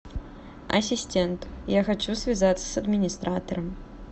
ассистент я хочу связаться с администратором